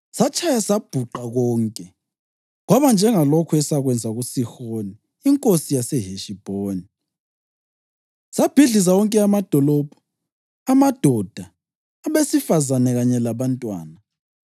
Satshaya sabhuqa konke, kwaba njengalokhu esakwenza kuSihoni inkosi yaseHeshibhoni, sabhidliza wonke amadolobho, amadoda, abesifazane kanye labantwana.